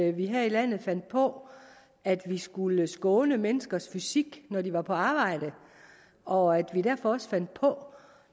at vi her i landet fandt på at vi skulle skåne menneskers fysik når de var på arbejde og at vi derfor også fandt på